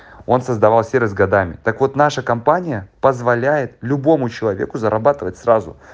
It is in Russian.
он создавал сервис годами так вот наша компания позволяет любому человеку зарабатывать сразу